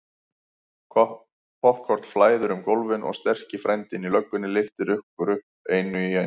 Poppkorn flæðir um gólfin og sterki frændinn í löggunni lyftir okkur fimm upp í einu.